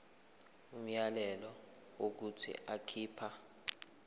umyalelo wokuthi akhipha